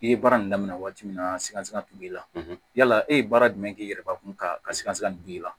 I ye baara nin daminɛ waati min na sika t'u b'i la yala e ye baara jumɛn k'i yɛrɛ kun ka sikaso dongili la